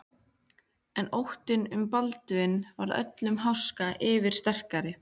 En óttinn um Baldvin varð öllum háska yfirsterkari.